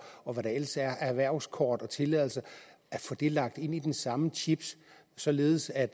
og hvad der ellers er erhvervskort og tilladelser lagt ind i den samme chip således at